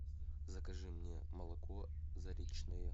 закажи мне молоко заречное